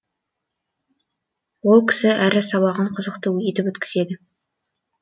ол кісі әр сабағын қызықты етіп өткізеді